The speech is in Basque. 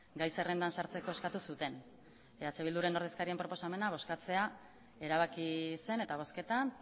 gai zerrendan sartzeko eskatu zuten eh bilduren ordezkarien proposamena bozkatzea erabaki zen eta bozketan